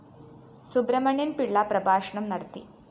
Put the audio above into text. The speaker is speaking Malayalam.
സുബ്രഹ്മണ്യന്‍ പിള്ള പ്രഭാഷണം നടത്തി